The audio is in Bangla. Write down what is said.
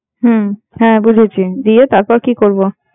হম হম বুঝেছি, দিয়ে তারপর কি করবো?